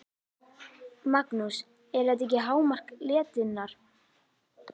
Magnús: Er þetta ekki hámark letinnar?